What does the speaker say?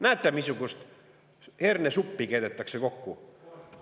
Näete, missugust hernesuppi keedetakse kokku.